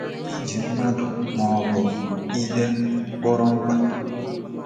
Ị ji mmadụ maọbụ ihe kpọrọ mkpa?